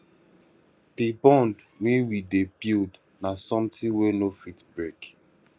di bond wey we dey build na something wey no fit break